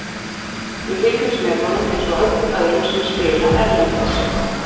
Við fylgjumst með honum eins og öllum öðrum sem spila erlendis.